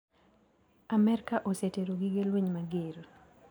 Amerka osetero gige lweny mager.